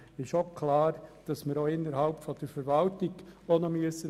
Es ist klar, dass wir auch innerhalb der Verwaltung ansetzen müssen.